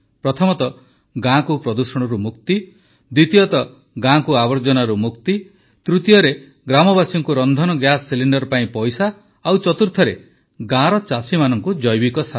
ପ୍ରଥମ ତ ଗାଁକୁ ପ୍ରଦୂଷଣରୁ ମୁକ୍ତି ଦ୍ୱିତୀୟ ଗାଁକୁ ଆବର୍ଜନାରୁ ମୁକ୍ତି ତୃତୀୟ ଗ୍ରାମବାସୀଙ୍କୁ ରନ୍ଧନ ଗ୍ୟାସ ସିଲିଣ୍ଡର୍ ପାଇଁ ପଇସା ଓ ଚତୁର୍ଥ ଗାଁର ଚାଷୀମାନଙ୍କୁ ଜୈବିକ ସାର